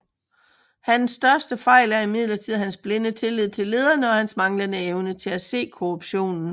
Hans største fejl er imidlertid hans blinde tillid til lederne og hans manglende evne til at se korruptionen